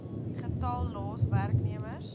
getal los werknemers